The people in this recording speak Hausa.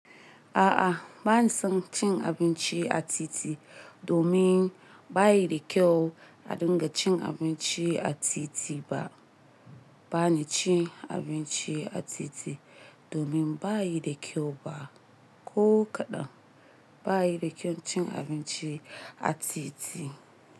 A'a, bani son cin abinci a titi domin bayi da kyau. A dinga cin abinci a titi ba. Ba ni cin abinci a titi domin bayi da kyau ba. Ko kaɗan bayi da kyau cin abinci a titi.